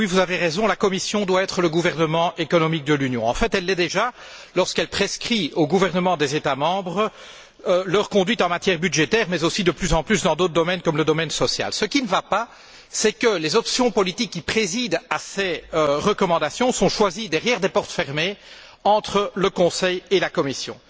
Monsieur le Président, Monsieur Barroso, Monsieur Van Rompuy, vous avez raison, la Commission doit être le gouvernement économique de l'Union. En fait, elle l'est déjà lorsqu'elle prescrit aux gouvernements des États membres leur conduite en matière budgétaire mais aussi de plus en plus dans d'autres domaines comme dans le domaine social. Ce qui ne va pas, c'est que les options politiques qui président à ces recommandations sont choisies derrière des portes fermées entre le Conseil et la Commission.